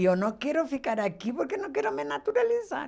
E eu não quero ficar aqui porque não quero me naturalizar.